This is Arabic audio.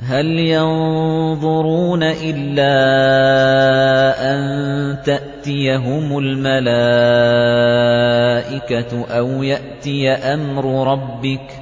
هَلْ يَنظُرُونَ إِلَّا أَن تَأْتِيَهُمُ الْمَلَائِكَةُ أَوْ يَأْتِيَ أَمْرُ رَبِّكَ ۚ